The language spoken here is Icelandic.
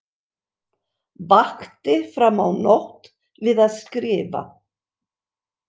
Vakti fram á nótt við að skrifa.